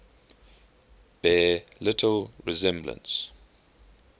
bear little resemblance